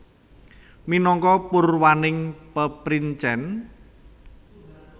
Minangka purwaning peprincèn